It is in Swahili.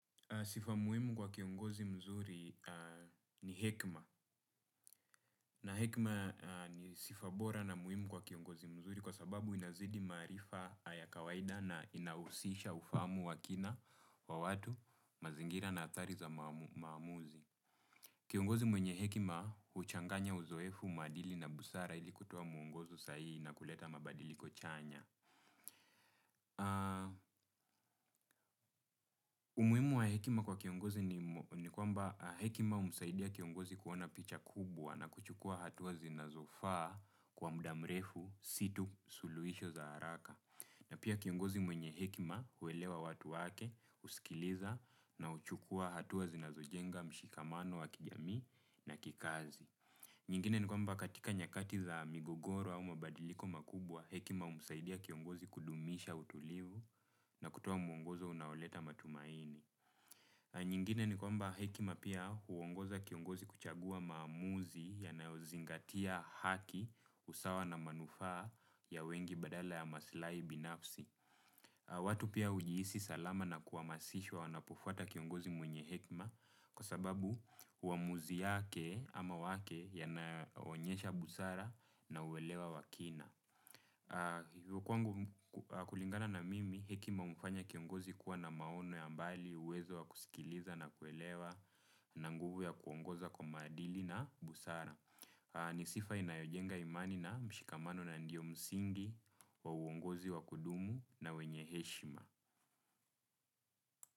Sifa muhimu kwa kiongozi mzuri ni hekima na hekima ni sifa bora na muhimu kwa kiongozi mzuri kwa sababu inazidi maarifa ya kawaida na inahusisha ufamu wa kina wa watu mazingira na athari za maamuzi. Kiongozi mwenye hekima huchanganya uzoefu, maadili na busara ili kutoa mwongozo sahihi na kuleta mabadiliko chanya. Umuhimu wa hekima kwa kiongozi ni kwamba hekima humsaidia kiongozi kuona picha kubwa na kuchukua hatua zinazofaa kwa muda mrefu si tu suluhisho za haraka na pia kiongozi mwenye hekima huwelewa watu wake, husikiliza na huchukua hatua zinazojenga mshikamano wa kijamii na kikazi nyingine ni kwamba katika nyakati za migogoro au mabadiliko makubwa, hekima humusaidia kiongozi kudumisha utulivu na kutoa mwongozo unaoleta matumaini. Nyingine ni kwamba hekima pia huongoza kiongozi kuchagua maamuzi yanayozingatia haki usawa na manufaa ya wengi badala ya masilahi binafsi. Watu pia hujiisi salama na kuhamasishwa wanapofuata kiongozi mwenye hekima kwa sababu uamuzi yake ama wake yanaonyesha busara na uwelewa wa kina. Hivo kwangu kulingana na mimi hekima humfanya kiongozi kuwa na maono ya mbali uwezo wa kusikiliza na kuelewa na nguvu ya kuongoza kwa maadili na busara. Ni sifa inayojenga imani na mshikamano na ndiyo msingi, wa uongozi wa kudumu na wenye heshima.